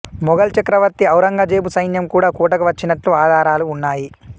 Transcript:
మొగల్ చక్రవర్తి ఔరంగజేబు సైన్యం కూడా కోటకు వచ్చినట్లు ఆధారాలు ఉన్నాయి